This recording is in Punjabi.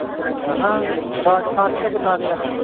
ਆਹਾ ਰਾਜਸਥਾਨ ਤੋਂ ਕਿੰਨਾ ਕ ਹੈ?